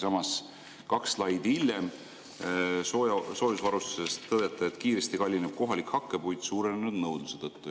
Samas, kaks slaidi hiljem soojusvarustuse kohta tõdete: kohalik hakkepuit kallineb kiiresti suurenenud nõudluse tõttu.